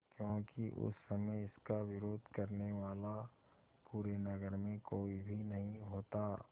क्योंकि उस समय इसका विरोध करने वाला पूरे नगर में कोई भी नहीं होता